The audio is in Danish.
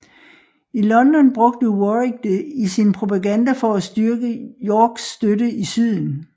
I London brugte Warwick det i sin propaganda for at styrke Yorks støtte i syden